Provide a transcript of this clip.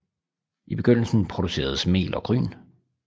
I begyndelsen produceredes mel og gryn